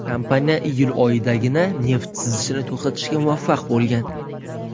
Kompaniya iyul oyidagina neft sizishini to‘xtatishga muvaffaq bo‘lgan.